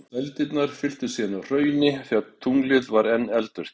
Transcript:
Dældirnar fylltust síðan af hrauni þegar tunglið var enn eldvirkt.